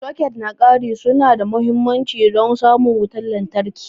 Soket na ƙari su na da mahimmanci don samun wutar lantarki.